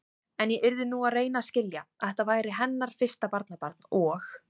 En ég yrði nú að reyna að skilja, að þetta væri hennar fyrsta barnabarn og.